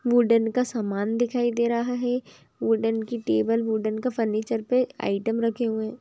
wooden का सामान दिखाई दे रहा है वुडन कि टेबल वुडन के फर्निचर पे आइटम रखे हुए हैं